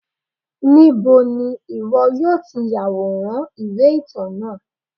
níbo ni iwọ yọọ ti yaworan iwe-itan náá?